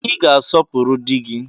Ị ga-asọpụrụ di gị